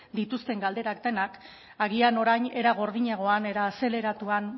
dituzten galderak denak agian orain era gordinagoan era azeleratuan